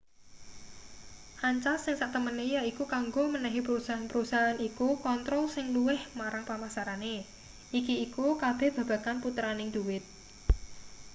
ancas sing satemene yaiku kanggo menehi perusahaan-perusahaan iku kontrol sing luwih marang pemasarane iki iku kabeh babagan puteraning dhuwit